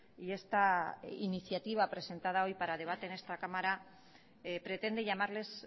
y esta iniciativa presentada hoy para debate en esta cámara pretende llamarles